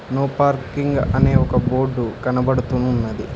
no parking అనే ఒక board కనబడుతూ ఉన్నది